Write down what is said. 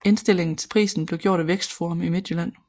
Indstillingen til prisen blev gjort af Vækstforum Midtjylland